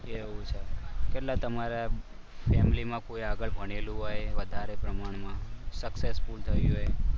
એવું છે? કેટલા તમારા ફેમિલીમાં આગળ કોઈ ભણેલું હોય. આગળ વધારે પ્રમાણમાં successful થયું હોય.